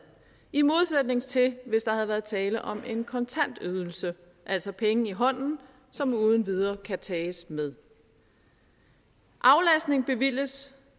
i modsætning til hvis der havde været tale om en kontant ydelse altså penge i hånden som uden videre kan tages med aflastning bevilges